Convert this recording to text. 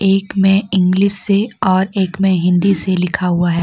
एक मे इंग्लिश से और एक में हिंदी से लिखा हुआ है।